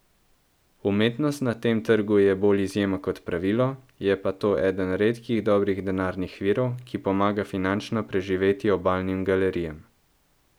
Umetnost na tem trgu je bolj izjema kot pravilo, je pa to eden redkih dobrih denarnih virov, ki pomaga finančno preživeti Obalnim galerijam.